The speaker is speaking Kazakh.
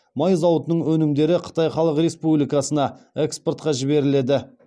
май зауытының өнімдері қытай халық республикасына экспортқа жіберіледі